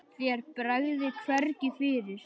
Þér bregður hvergi fyrir.